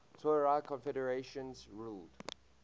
tuareg confederations ruled